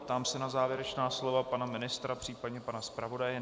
Ptám se na závěrečná slova pana ministra, případně pana zpravodaje.